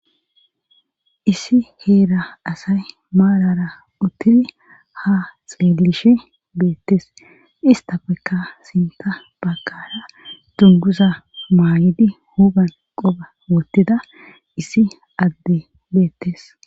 issi heera asay maarara uttidi ha xeelishe beettes istafekka sinta bagara dunguza maayidi huphan qoba wottida issi addey beettes